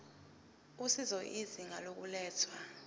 usizo izinga lokulethwa